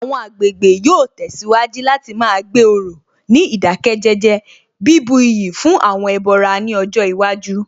Àwọn agbègbè yóò tẹ̀síwájú láti má gbé òrò ní ìdákẹ́jẹ́jẹ́, bíbu iyì fún àwọn ẹbọra ní ọjọ́ iwájú